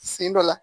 Sen dɔ la